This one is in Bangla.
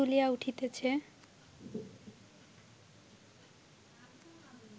দুলিয়া উঠিতেছে